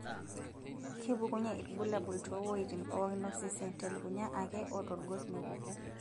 kepukunye irbulabul too woitin pookin osesen telukunya ake otorgos mepuku